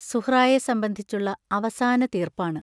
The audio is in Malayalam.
സുഹ്റായ സംബന്ധിച്ചുള്ള അവസാന തീർപ്പാണ്.